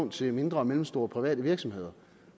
til mindre og mellemstore private virksomheder